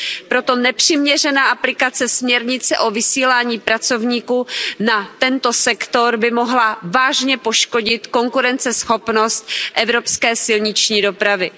Proto nepřiměřená aplikace směrnice o vysílání pracovníků na tento sektor by mohla vážně poškodit konkurenceschopnost evropské silniční dopravy.